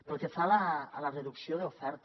pel que fa a la reducció de l’oferta